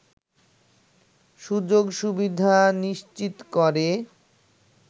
সুযোগ সুবিধা নিশ্চিত করে